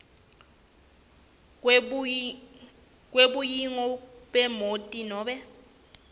kwebuniyo bemoti nobe